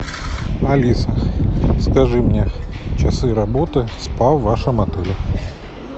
алиса скажи мне часы работы спа в вашем отеле